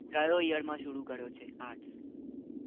કયા year માં શરુ કર્યું છે arts